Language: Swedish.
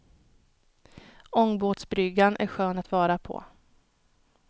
Ångbåtsbryggan är skön att vara på.